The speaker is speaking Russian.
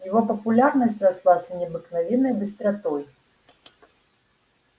его популярность росла с необыкновенной быстротой